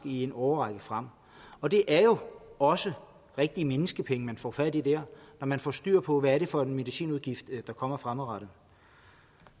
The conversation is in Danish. i en årrække frem og det er jo også rigtige menneskepenge man får fat i der når man får styr på hvad det er for en medicinudgift der kommer fremadrettet